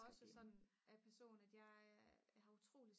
også sådan af person at jeg har utrolig